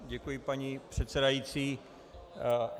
Děkuji, paní předsedající.